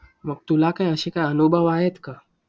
मग तुला काय अशी का अनुभव आहेत का?